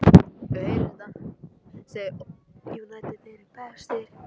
Erfitt getur reynst að mæla massa smástirna sökum þess að þau hafa yfirleitt enga fylgihnetti.